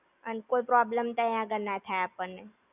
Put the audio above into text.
અને કોઈ problem તઇ આગળ ના થાય આપણને